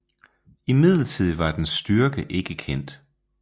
Imidlertid var dens styrke ikke kendt